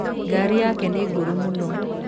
Ngari yake nĩ ngũrũ mũno.